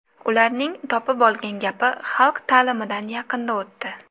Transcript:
Ularning topib olgan gapi, ‘Xalq ta’limidan yaqinda o‘tdi’.